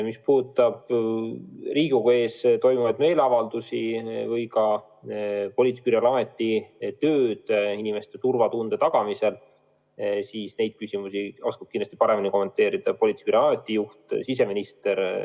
Mis puudutab Riigikogu ees toimunud meeleavaldusi ning Politsei- ja Piirivalveameti tööd inimeste turvatunde tagamisel, siis neid küsimusi oskab kindlasti paremini kommenteerida politseiameti juht, siseminister.